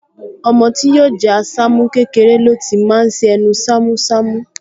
Ọmọ tí yóò jẹ́ Àṣàmú, kékeré ló ti máa ṣ’ẹnu ṣámúṣamú